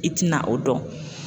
I tina o dɔn.